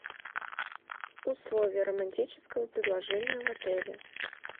условия романтического предложения в отеле